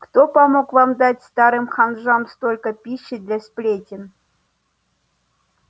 кто помог вам дать старым ханжам столько пищи для сплетен